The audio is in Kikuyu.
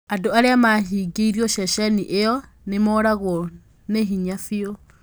Andu aria mahingiirwo sheshenini iyo nimoragwo ni hinya fiu